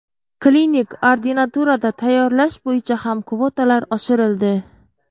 Klinik ordinaturada tayyorlash bo‘yicha ham kvotalar oshirildi.